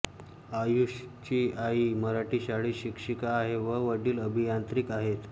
आयुषची आई मराठी शाळेत शिक्षिका आहे व वडील अभियांत्रिक आहेत